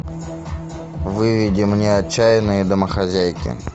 выведи мне отчаянные домохозяйки